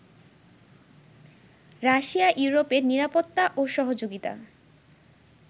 Russia ইউরোপের নিরাপত্তা ও সহযোগিতা